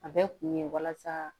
A bɛ kun ye walasa